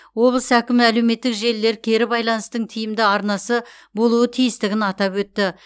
облыс әкімі әлеуметтік желілер кері байланыстың тиімді арнасы болуы тиістігін атап өтті